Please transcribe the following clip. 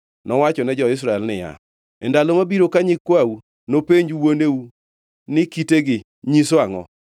Nowachone jo-Israel niya, “E ndalo mabiro ka nyikwau nopenj wuoneu ni, ‘Kitegi nyiso angʼo?’